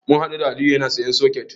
Mun haɗu da Aliyu yana sayen soket.